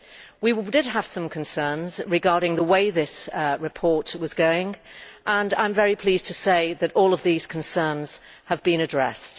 We did have some concerns regarding the way this report was going and I am very pleased to say that all of these concerns have been addressed.